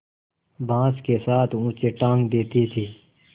बाँस के साथ ऊँचे टाँग देती थी